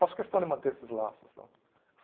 Faço questão de manter esses laços lá.